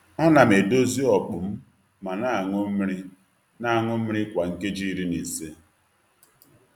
A na m edozie okpu m ma na aṅụ mmiri na aṅụ mmiri kwa nkeji iri na ise.